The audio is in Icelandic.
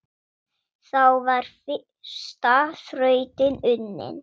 Þá var fyrsta þrautin unnin.